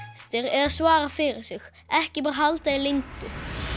eða svara fyrir sig ekki bara halda því leyndu